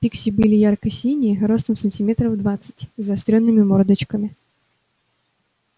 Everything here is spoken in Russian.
пикси были ярко-синие ростом сантиметров двадцать с заострёнными мордочками